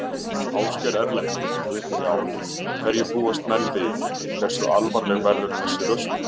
Ásgeir Erlendsson: Já, hverju búast menn við, hversu alvarleg verður þessi röskun?